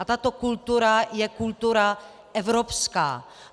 A tato kultura je kultura evropská.